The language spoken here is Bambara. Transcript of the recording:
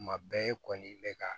Kuma bɛɛ i kɔni bɛ ka